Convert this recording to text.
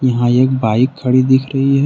यहां एक बाइक खड़ी दिख रही है।